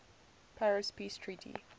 paris peace treaty